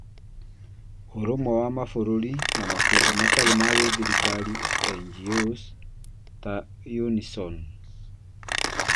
ũrũmwe wa Mabũrũri, na makundi matarĩ ma gĩthirikari (NGOs) ta Unision